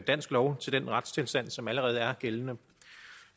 dansk lov til den retstilstand som allerede er gældende